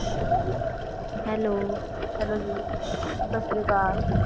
hello hello ji Sat Sri Akal